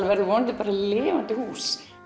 verður vonandi bara lifandi hús